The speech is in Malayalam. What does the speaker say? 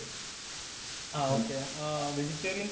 ആഹ് ഓകെ. ആഹ് വെജിറ്റേറിയന്‍സാ